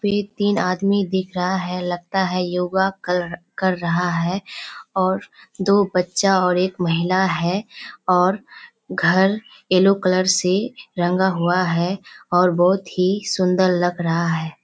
ये तीन आदमी दिख रहा है लगता है योग कर कर रहा है और दो बच्चा और एक महिला है और घर येलो कलर से रंगा हुआ है और बहुत ही सुंदर लग रहा है।